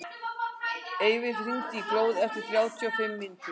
Eyfi, hringdu í Glóð eftir þrjátíu og fimm mínútur.